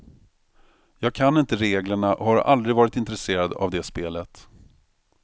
Jag kan inte reglerna och har aldrig varit intresserad av det spelet.